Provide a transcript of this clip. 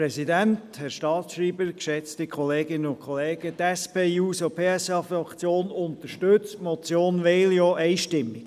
Die SP-JUSO-PSA-Fraktion unterstützt die Motion Veglio einstimmig.